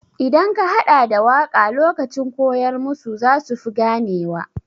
Idan ka haɗa da waƙa lokacin koyar musu za su fi gane wa.